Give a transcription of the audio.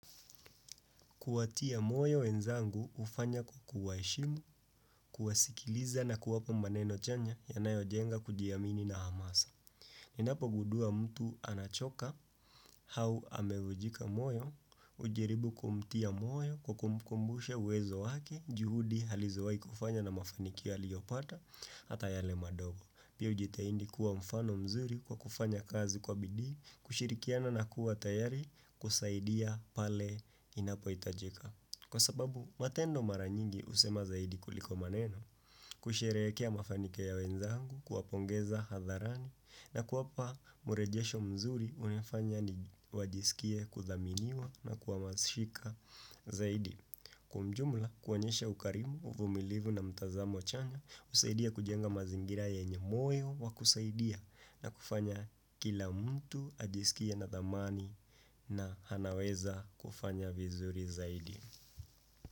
Kuatia moyo wenzangu ufanya kukuwa heshimu, kuwasikiliza na kuwapo maneno chanya yanayo jenga kujiamini na hamasa. Ninapo gundua mtu anachoka hau amevujika moyo, ujaribu kumtia moyo kukumbushe uwezo wake juhudi halizowai kufanya na mafanikia liyopata ata yale madogo. Pia ujitaindi kuwa mfano mzuri kwa kufanya kazi kwa bidii, kushirikiana na kuwa tayari kusaidia pale inapo itajika. Kwa sababu matendo mara nyingi usema zaidi kuliko maneno kusherekea mafanikio ya wenzangu kuapongeza hadharani na kuapa murejesho mzuri unifanya ni wajisikie kuthaminiwa na kuamashika zaidi. Kwa mjumla kuanyesha ukarimu, uvumilivu na mtazamo chanya, usaidia kujenga mazingira ya wenyebmoyo wa kusaidia na kufanya kila mtu ajisikie na zamani na hanaweza kufanya vizuri zaidi.